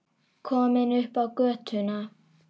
Komin upp á götuna.